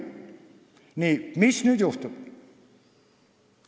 Nii, mis nüüd juhtub?